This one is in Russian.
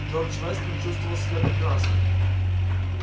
джордж вестон чувствовал себя прекрасно